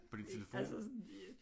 På din telefon?